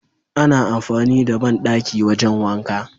ana amfani da banɗaki wajan wanka